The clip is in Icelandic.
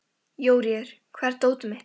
Jóríður, hvar er dótið mitt?